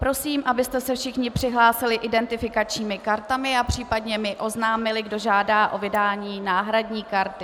Prosím, abyste se všichni přihlásili identifikačními kartami a případně mi oznámili, kdo žádá o vydání náhradní karty.